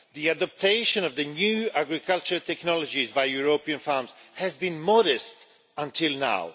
adoption of the new agricultural technologies by European farms has been modest until now.